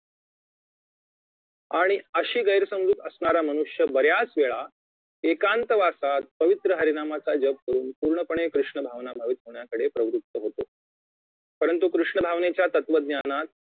आणि अशी गैरसमजूत असणारा मनुष्य बऱ्याचवेळा एकांत वासात पवित्र्य हरिनामाचा जप करुन पूर्णपणे कृष्ण भावना मोहित होण्याकडे प्रवृत्त होतो परुंतु कृष्ण भावनेच्या तत्वज्ञानात